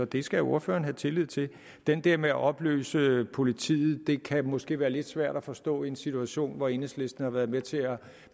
det skal ordføreren have tillid til den der med at opløse politiet kan måske være lidt svær at forstå i en situation hvor enhedslisten har været med til